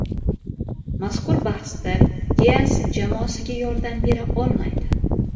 Mazkur bahsda Dias jamoasiga yordam bera olmaydi.